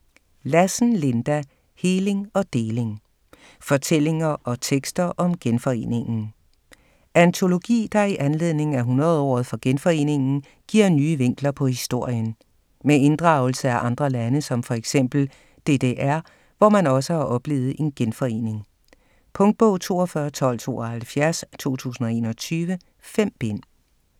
Lassen, Linda: Heling og deling: fortællinger og tekster om genforeningen Antologi der i anledning af 100-året for genforeningen giver nye vinkler på historien. Med inddragelse af andre lande som f.eks. DDR, hvor man også har oplevet en genforening. Punktbog 421272 2021. 5 bind.